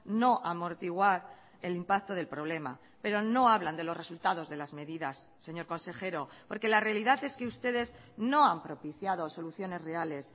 no amortiguar el impacto del problema pero no hablan de los resultados de las medidas señor consejero porque la realidad es que ustedes no han propiciado soluciones reales